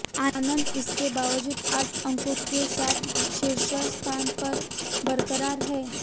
आनंद इसके बावजूद आठ अंकों के साथ शीर्ष स्थान पर बरकरार हैं